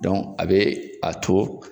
a be a to